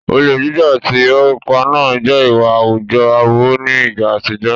Olè jíjà àti ìrọ́ pípa náà jẹ́ ìwà àwùjọ aburú ní ìgbà àtijọ́.